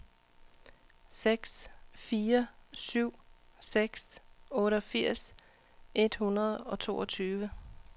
seks fire syv seks otteogfirs et hundrede og toogtyve